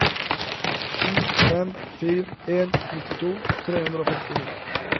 sju fem fire en nittito tre hundre og femtini